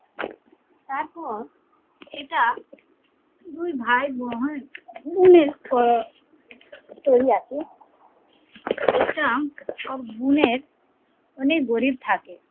তারপর এটা দুই ভাই ওই আছে একটা সব গুনের অনেক গরিব থাকে